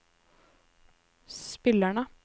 spillerne